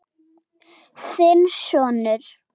Þinn sonur.